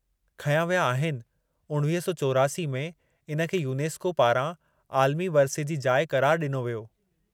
खंया विया आहिनि, 1984 में, इन खे यूनेस्को पारां आलमी वरिसे जी जाइ क़रारु ॾिनो वियो।